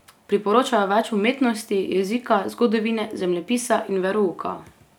Priporočajo več umetnosti, jezika, zgodovine, zemljepisa in verouka.